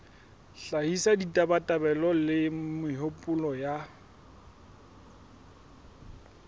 hlahisa ditabatabelo le mehopolo ya